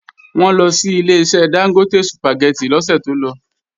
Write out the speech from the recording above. Wọ́n lọ sí Ileṣẹ́ Dángótè Sùpàgẹ́tì lọ́sẹ̀ tó lọ